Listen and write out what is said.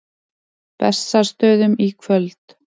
Bessastöðum í kvöld!